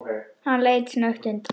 Hann leit snöggt undan.